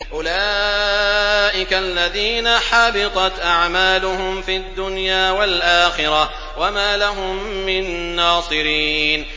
أُولَٰئِكَ الَّذِينَ حَبِطَتْ أَعْمَالُهُمْ فِي الدُّنْيَا وَالْآخِرَةِ وَمَا لَهُم مِّن نَّاصِرِينَ